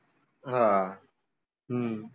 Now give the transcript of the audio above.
हां हम्म